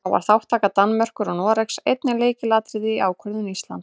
Þá var þátttaka Danmerkur og Noregs einnig lykilatriði í ákvörðun Íslands.